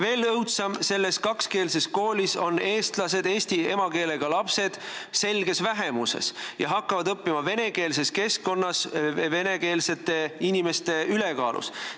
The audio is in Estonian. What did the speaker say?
Veel õudsem: selles kakskeelses koolis on eestlased, eesti emakeelega lapsed selges vähemuses ja hakkavad õppima venekeelses keskkonnas, kus venekeelsed inimesed on ülekaalus.